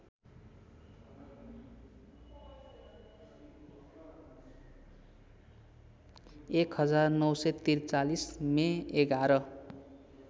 १९४३ May ११